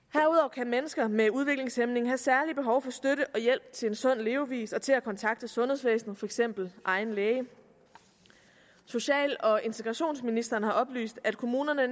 kan mennesker med udviklingshæmning have særlige behov for støtte og hjælp til en sund levevis og til at kontakte sundhedsvæsenet for eksempel egen læge social og integrationsministeren har oplyst at kommunerne